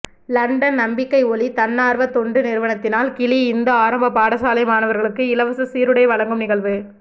London நம்பிக்கை ஒளி தன்னார்வ தொண்டு நிறுவனத்தினால் கிளி இந்து ஆரம்ப பாடசாலை மாணவர்களுக்கு இலவசசீருடைவழங்கும் நிகழ்வு